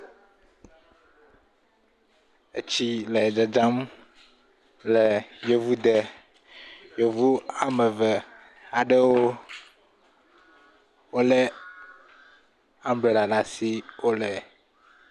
Etsi le dzadzam le yevuwo de. Yevu wòa me Eʋevi aɖe, wole ambrella ɖe asi wole…